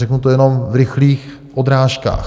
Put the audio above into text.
Řeknu to jenom v rychlých odrážkách.